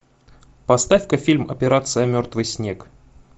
поставь ка фильм операция мертвый снег